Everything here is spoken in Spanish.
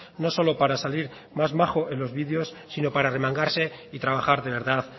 no solo para salir más majo en los vídeos sino para arremangarse y trabajar de verdad